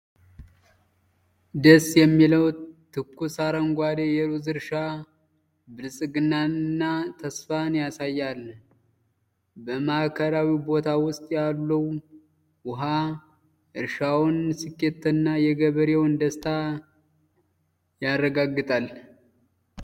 ደስ የሚለው ትኩስ አረንጓዴ የሩዝ እርሻ ብልጽግናንና ተስፋን ያሳያል። በማዕከላዊው ቦይ ውስጥ ያለው ውሃ የእርሻውን ስኬትና የገበሬውን ደስታ ያረጋግጣል ።